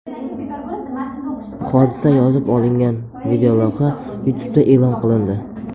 Hodisa yozib olingan videolavha YouTube’da e’lon qilindi .